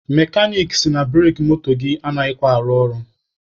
Mekanik sị na bureki moto gị anaghịkwa arụ ọrụ.